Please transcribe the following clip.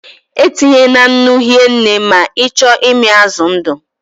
E tinyena nnu hie nne ma ị chọọ ịmị azụ ndụ